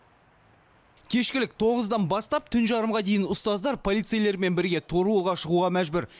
кешкілік тоғыздан бастап түн жарымға дейін ұстаздар полицейлермен бірге торуылға шығуға мәжбүр